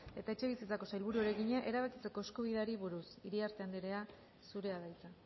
eta etxebizitzako sailburuari egina erabakitzeko eskubideari buruz iriarte andrea zurea da hitza